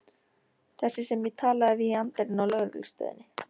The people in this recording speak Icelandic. Þessi sem ég talaði við í anddyrinu á lögreglustöðinni.